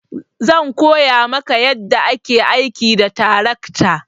Zan koya maka yadda ake aiki da tarakta.